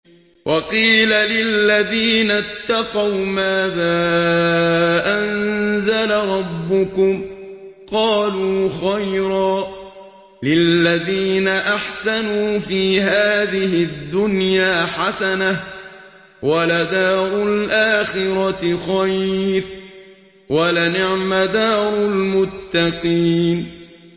۞ وَقِيلَ لِلَّذِينَ اتَّقَوْا مَاذَا أَنزَلَ رَبُّكُمْ ۚ قَالُوا خَيْرًا ۗ لِّلَّذِينَ أَحْسَنُوا فِي هَٰذِهِ الدُّنْيَا حَسَنَةٌ ۚ وَلَدَارُ الْآخِرَةِ خَيْرٌ ۚ وَلَنِعْمَ دَارُ الْمُتَّقِينَ